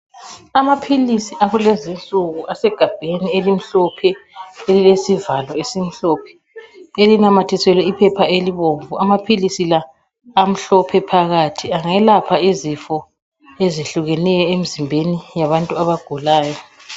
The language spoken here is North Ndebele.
Amaphilisi akulezinsuku asegabheni elimhlophe ,elilesivalo esimhlophe elinamathiselwe iphepha elibomvu. Amaphilisi la amhlophe phakathi angelapha izifo ezihlukeneyo emzimbeni yabantu abagulayo.